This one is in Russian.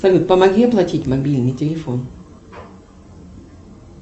салют помоги оплатить мобильный телефон